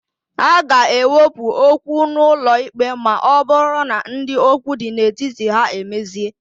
A ga-ewepụ okwu n'ụlọikpe ma ọbụrụ na ndị okwu dị n'etiti ha emezie.